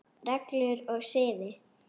Reglur og siði